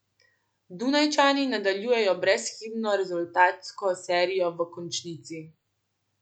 Dunajčani nadaljujejo brezhibno rezultatsko serijo v končnici.